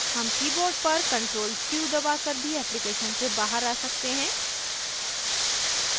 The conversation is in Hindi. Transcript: हम keyboard पर ctrl q दबाकर भी application से बाहर आ सकते हैं